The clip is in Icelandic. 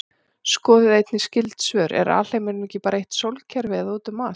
Skoðið einnig skyld svör: Er alheimurinn bara eitt sólkerfi eða út um allt?